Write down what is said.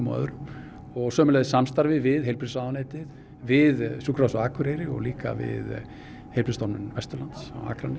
og öðrum og sömuleiðis samstarfi við heilbrigðisráðuneytið við Sjúkrahúsið á Akureyri og líka við Heilbrigðisstofnun Vesturlands